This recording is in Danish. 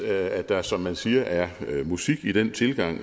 at der som man siger er musik i den tilgang